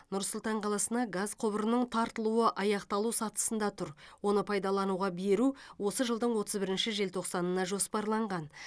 нұр сұлтан қаласына газ құбырының тартылуы аяқталу сатысында тұр оны пайдалануға беру осы жылдың отыз бірінші желтоқсанына жоспарланған